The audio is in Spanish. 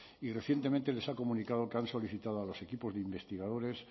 y recientemente les ha comunicado que han solicitado a los equipos de investigadores